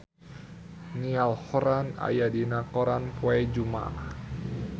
Niall Horran aya dina koran poe Jumaah